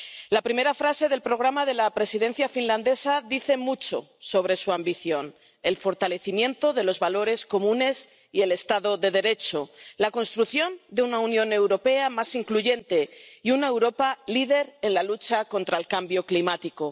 La primera frase del programa de la Presidencia finlandesa dice mucho sobre su ambición el fortalecimiento de los valores comunes y el Estado de Derecho, la construcción de una Unión Europea más incluyente y una Europa líder en la lucha contra el cambio climático.